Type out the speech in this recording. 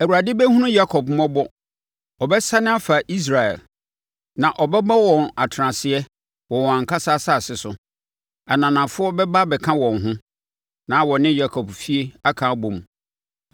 Awurade bɛhunu Yakob mmɔbɔ; ɔbɛsane afa Israel na ɔbɛbɔ wɔn atenaseɛ wɔ wɔn ankasa asase so. Ananafoɔ bɛba abɛka wɔn ho na wɔne Yakob efie aka abɔ mu.